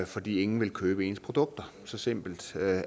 fordi ingen vil købe ens produkter så simpelt